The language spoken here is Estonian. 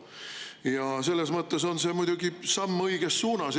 Ja selles mõttes on see muidugi samm õiges suunas.